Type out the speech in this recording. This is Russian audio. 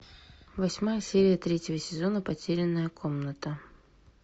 восьмая серия третьего сезона потерянная комната